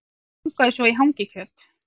Langaði svo í hangikjöt